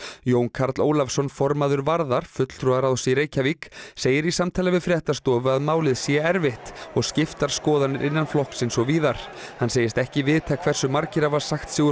Jón Karl Ólafsson formaður Varðar fulltrúaráðs í Reykjavík segir í samtali við fréttastofu að málið sé erfitt og skiptar skoðanir innan flokksins og víðar hann segist ekki vita hversu margir hafi sagt sig úr